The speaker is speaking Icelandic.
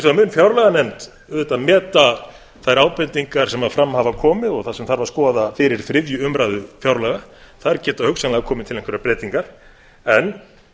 vegar mun fjárlaganefnd auðvitað meta þær ábendingar sem fram hafa komið og það sem þarf að skoða fyrir þriðju umræðu fjárlaga þar geta hugsanlega komið til einhverjar breytingar en